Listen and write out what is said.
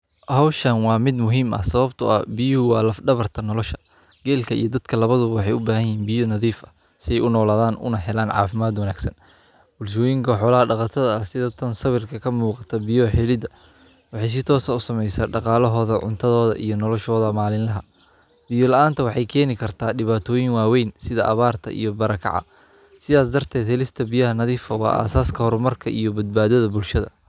Hawshan waa mid muhiim ah sababtoo ah biyuu waa la dhabarta nolosha. Geellka iyo dadka labadu waxay u baahanyihiin biyo nadiif ah si ay u noolaadaan una helaan caafimaad wanaagsan. Bulshooyinka xawla dhagataaga sida tan sawirka ka muuqata biyo xillida. Wixii jitoosa u samaysa dhaqaalahooda, cuntadooda iyo noloshahooda maalinlaha. Biyul aanta waxay keeni kartaa dhibaatooyin waaweyn sida abbaarta iyo barakaca. Si aas darted helista biyaha nadiifa waa aasaaska horumarka iyo badbaadada bulshada.